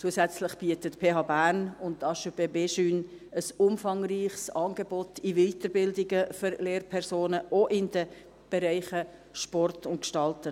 Zusätzlich bieten die PHB und die HEP BEJUNE (Haute Ecole Pédagogique Berne, Jura, Neuchâtel) ein umfangreiches Angebot an Weiterbildungen für Lehrpersonen an, auch in den Bereichen Sport und Gestalten.